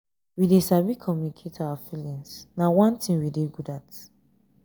we dey sabi communicate our feelings na one thing we dey good at